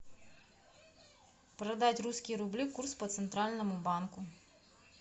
продать русские рубли курс по центральному банку